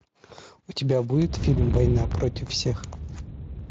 у тебя будет фильм война против всех